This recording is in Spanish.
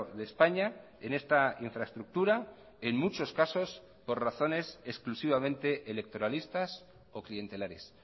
de españa en esta infraestructura en muchos casos por razones exclusivamente electoralistas o clientelares